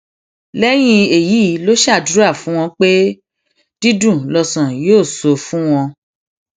lẹyìn èyí ló ṣàdúrà fún wọn pé dídùn lọsàn yóò sọ fún wọn